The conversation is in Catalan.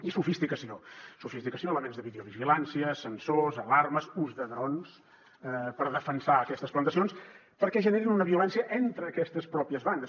i sofisticació sofisticació elements de videovigilància sensors alarmes ús de drons per a defensar aquestes plantacions perquè generen una violència entre aquestes pròpies bandes